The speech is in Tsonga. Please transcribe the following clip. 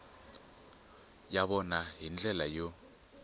ya vona hi ndlela yo